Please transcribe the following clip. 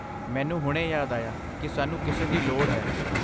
ਮੈਨੂੰ ਹੁਣੇ ਯਾਦ ਆਇਆ ਕਿ ਸਾਨੂੰ ਕਿਸੇ ਦੀ ਲੋੜ ਹੈ।